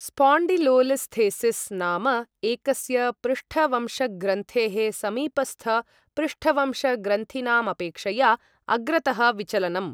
Spondylolisthesis नाम एकस्य पृष्ठवंशग्रन्थेः समीपस्थपृष्ठवंशग्रन्थीनामपेक्षया अग्रतः विचलनम्।